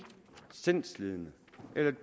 sindslidende